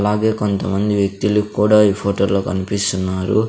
అలాగే కొంతమంది వ్యక్తులు కూడా ఈ ఫోటోలో కన్పిస్తున్నారు.